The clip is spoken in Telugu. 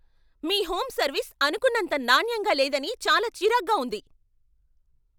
మీ హోమ్ సర్వీస్ అనుకున్నంత నాణ్యంగా లేదని చాలా చిరాగ్గా ఉంది.